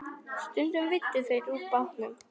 Stundum veiddu þeir úr bátnum.